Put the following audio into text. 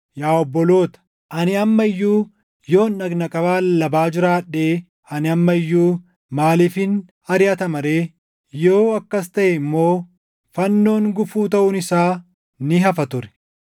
Yaa obboloota, ani amma iyyuu yoon dhagna qabaa lallabaa jiraadhee ani amma iyyuu maaliifin ariʼatama ree? Yoo akkas taʼee immoo fannoon gufuu taʼuun isaa ni hafa ture!